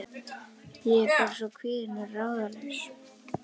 Ég er bara svona kvíðin og ráðalaus.